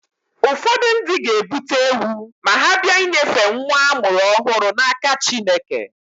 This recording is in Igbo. Ụfọdụ ndị ga-ebute ewu ma ha bịa inyefe nwa a mụrụ ọhụrụ n'aka Chineke.